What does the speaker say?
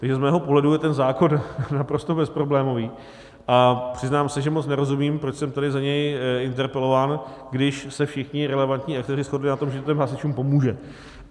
Takže z mého pohledu je ten zákon naprosto bezproblémový a přiznám se, že moc nerozumím, proč jsem tady za něj interpelován, když se všichni relevantní aktéři shodli na tom, že to těm hasičům pomůže.